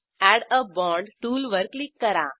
add a bond टूलवर क्लिक करा